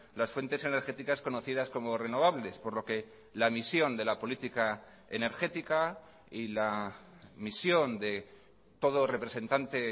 las fuentes energéticas conocidas como renovables por lo que la misión de la política energética y la misión de todo representante